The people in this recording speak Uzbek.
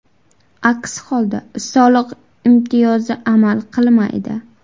Aks holda, soliq imtiyozi amal qilmaydi.